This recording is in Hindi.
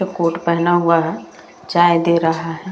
जो कोट पहना हुआ है चाय दे रहा है।